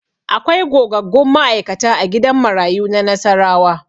Akwai gogaggun ma'aikata a gidan marayu na Nassarawa.